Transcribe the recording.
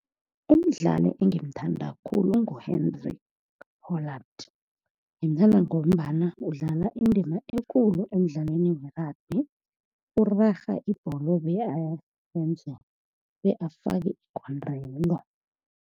Umdlali engimthanda khulu ngu-Henry Holland, ngimthanda ngombana udlala indima ekulu emidlalweni we-rugby, urarha ibholo bakafake igondelo.